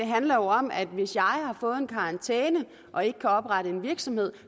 handler om at hvis jeg har fået en karantæne og ikke kan oprette en virksomhed